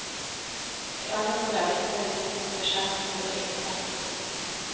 I alle fall er disse myntene sjeldent gode i metallet.